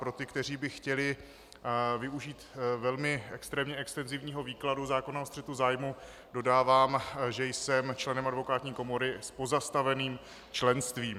Pro ty, kteří by chtěli využít velmi extrémně extenzivního výkladu zákona o střetu zájmů, dodávám, že jsem členem advokátní komory s pozastaveným členstvím.